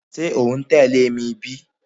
Ṣe o n tẹle mi bi?